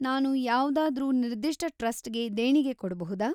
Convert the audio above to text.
ನಾನು ಯಾವ್ದಾದ್ರೂ ನಿರ್ದಿಷ್ಟ ಟ್ರಸ್ಟ್‌ಗೆ ದೇಣಿಗೆ ಕೊಡ್ಬಹುದಾ?